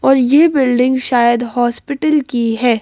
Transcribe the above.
और ये बिल्डिंग शायद हॉस्पिटल की है।